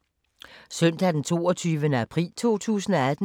Søndag d. 22. april 2018